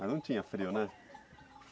Mas não tinha frio, né?